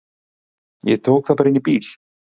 Ég tók það inn í bíl.